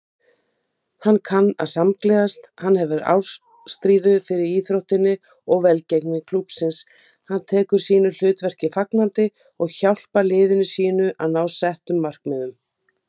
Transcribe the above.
Full af leyndardómum sem aðeins hún vissi hverjir voru þó bara að litlu leyti.